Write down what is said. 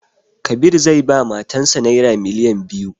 Kabir zai ba matan sa naira miliyan biyu